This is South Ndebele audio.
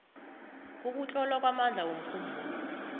ukutlola kwamandla womkhumbulo